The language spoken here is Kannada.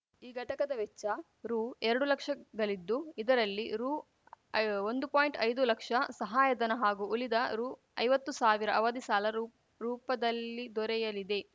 ಈ ಘಟಕದ ವೆಚ್ಚ ರು ಎರಡು ಲಕ್ಷ ಗಲಿದ್ದು ಇದರಲ್ಲಿ ರು ಒಂದು ಪಾಯಿಂಟ್ ಐದು ಲಕ್ಷ ಸಹಾಯಧನ ಹಾಗೂ ಉಳಿದ ರುಐವತ್ತು ಸಾವಿರ ಅವಧಿ ಸಾಲ ರು ರೂಪದಲ್ಲಿದೊರೆಯಲಿದೆ